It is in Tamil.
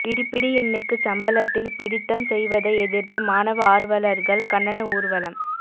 பிடிபிடிஎன்னுக்குச் சம்பளத்தில் பிடித்தம் செய்வதை எதிர்த்து மாணவ ஆர்வலர்கள் கண்டன ஊர்வலம்